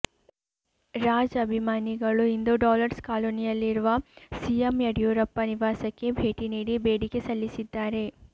ರಾಜ್ ಅಭಿಮಾನಿಗಳು ಇಂದು ಡಾಲರ್ಸ್ ಕಾಲೊನಿಯಲ್ಲಿರುವ ಸಿಎಂ ಯಡಿಯೂರಪ್ಪ ನಿವಾಸಕ್ಕೆ ಭೇಟಿ ನೀಡಿ ಬೇಡಿಕೆ ಸಲ್ಲಿಸಿದ್ದಾರೆ